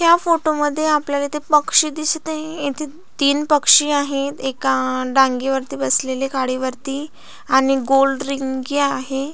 या फोटो मधी आपल्याला पक्षी दिसत आहे येथे तीन पक्षी आहेत एका आ रांगेवरती बसलेले गाडीवरती आणि गोल रिंगी आहे.